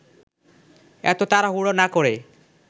এত তাড়াহুড়ো না করে